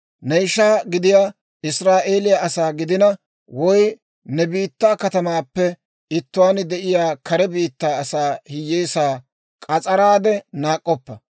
«Ne ishaa gidiyaa Israa'eeliyaa asaa gidina, woy ne biittaa katamaappe ittuwaan de'iyaa kare biittaa asaa hiyyeesaa k'as'araade naak'k'oppa.